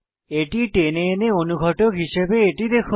এটি টেনে এনে অনুঘটক হিসাবে এটি দেখুন